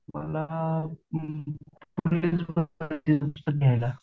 मला